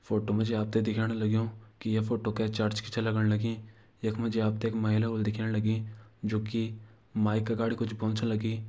फोटो मा जी आपते दिखेण च लग्यूं कि ये फोटो के चर्च की छ लगण लगीं यख मा जी आपते एक महिला व्हलि दिखेण लगी जु कि माइक अगाडि कुछ बव्न छ लगीं।